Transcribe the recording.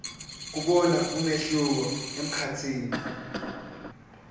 kubona umehluko emkhatsini